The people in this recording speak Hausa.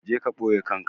Je ka ɓoye kanka!